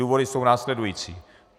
Důvody jsou následující.